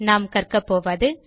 நாம் கற்கபோவது